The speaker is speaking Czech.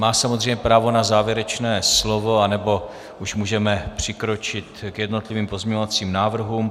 Má samozřejmě právo na závěrečné slovo, anebo už můžeme přikročit k jednotlivým pozměňovacím návrhům.